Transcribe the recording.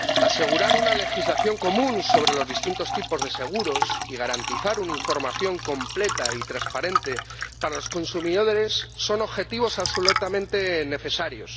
Asegurar una legislación común sobre los distintos tipos de seguros y garantizar una información completa y transparente para los consumidores son objetivos absolutamente necesarios.